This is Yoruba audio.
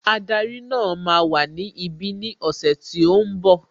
Ádárì náà máa wà ní ibi ní ọ̀sẹ̀ tí ó ń bọ̀